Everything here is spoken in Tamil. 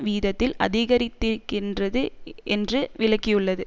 வீதத்தில் அதிகரித்திருக்கின்றது என்று விளக்கியுள்ளது